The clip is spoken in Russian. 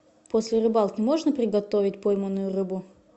после рыбалки можно приготовить пойманную рыбу